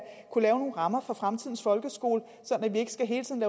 kunne lave nogle rammer for fremtidens folkeskole så vi ikke hele tiden